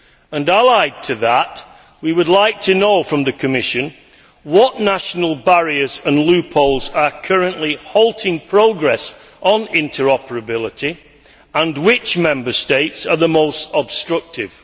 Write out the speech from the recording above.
And, allied to that, we would like to know from the Commission what national barriers and loopholes are currently halting progress on interoperability, and which Member States are the most obstructive.